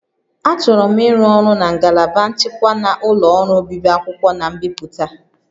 Achọrọ m ịrụ ọrụ na ngalaba nchịkwa na ụlọ ọrụ obibi akwụkwọ na mbipụta